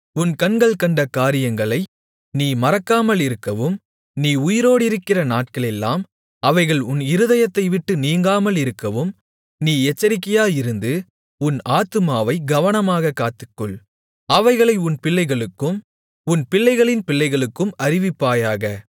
உன் கண்கள் கண்ட காரியங்களை நீ மறக்காமலிருக்கவும் நீ உயிரோடிருக்கிற நாட்களெல்லாம் அவைகள் உன் இருதயத்தைவிட்டு நீங்காமலிருக்கவும் நீ எச்சரிக்கையாயிருந்து உன் ஆத்துமாவை கவனமாகக் காத்துக்கொள் அவைகளை உன் பிள்ளைகளுக்கும் உன் பிள்ளைகளின் பிள்ளைகளுக்கும் அறிவிப்பாயாக